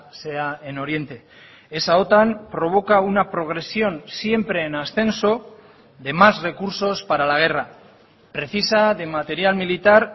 sea en oriente esa otan provoca una progresión siempre en ascenso de más recursos para la guerra precisa de material militar